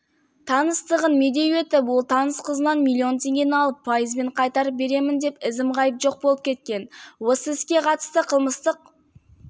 таныстығын медеу етіп ол таныс қызынан миллион теңгені алып пайызымен қайтарып беремін деп ізім-ғайып жоқ болып кеткен осы іске қатысты қылмыстық